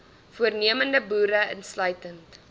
voornemende boere insluitend